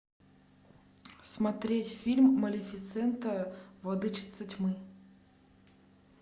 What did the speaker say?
смотреть фильм малефисента владычица тьмы